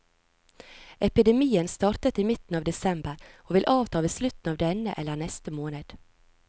Epidemien startet i midten av desember, og vil avta ved slutten av denne eller neste måned.